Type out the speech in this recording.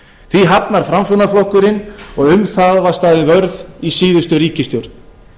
því hafnar framsóknarflokkurinn og um það var staðið vörð í síðustu ríkisstjórn